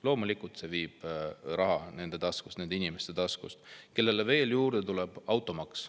Loomulikult see viib raha nende taskust, nende inimeste taskust, kellele tuleb juurde veel automaks.